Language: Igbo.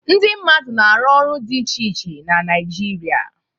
Ndị mmadụ na-arụ ọrụ dị iche iche na Naịjirịa.